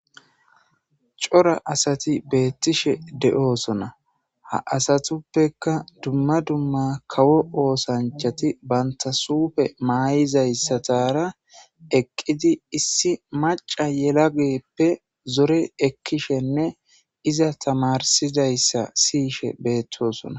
Cora asati beettishe de'oosona ha asatuppeka dumma dumma kawo oosanchati bantasuufe maayizayssatara eqqidi issi maca yelageeppe zore ekkishenne iza tamarsidayssa siyishe beettosona